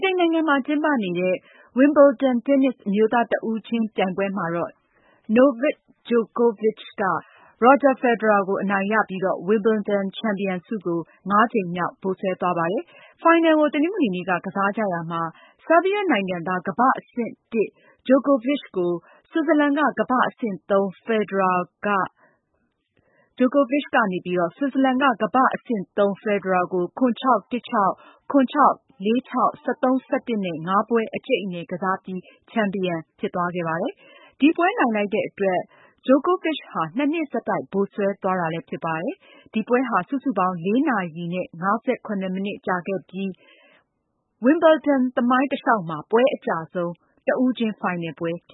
တိန်နိုင်ငံမှာကျင်းပနေတဲ့ WIMBLEDON တင်းနစ် အမျိုးသားတဦးချင်းပြိုင်ပွဲမှာတော့ Novak Djokovic က ရော်ဂျာဖယ်ဒရာကို အနိုင်ရပြီးတော့ ဝင်ဘယ်လ်ဒန်ချန်ပီယံဆုကို ၅ ကြိမ်မြောက် ဗိုလ်စွဲသွားပါတယ်။ ဖိုင်နယ်ကို တနင်္ဂနွေနေ့က ကစားကြတာမှာ ဆာဘီးယားနိုင်ငံသား ကမ္ဘာ့အဆင့် (၁) ဂျိုကိုဗစ်ချ်က ဆွစ်ဇာလန်က ကမ္ဘာ့အဆင့် (၃) ဖယ်ဒရာကို ၇-၆၊ ၁-၆၊ ၇-၆၊ ၄-၆၊ ၁၃-၁၂ နဲ့ ၅ ပွဲ အကြိတ်အနယ်ကစားပြီး ချန်ပီယံဖြစ်သွားတာ ဖြစ်ပါတယ်။ ဒီပွဲနိုင်လိုက်တဲ့အတွက် ဂျိုကိုဗစ်ချ်ဟာ ၂ နှစ် ဆက်တိုက် ဗိုလ်စွဲသွားတာလည်းဖြစ်ပါတယ်။ ဒီပွဲဟာ စုစုပေါင်း ၄ နာရီ နဲ့ ၅၇ မိနစ်ကြာခဲ့ပြီး ဝင်ဘယ်လ်ဒန်သမိုင်းတလျှောက်မှာ ပွဲချိန်အကြာဆုံး တဦးချင်းဖိုင်နယ်ပွဲဖြ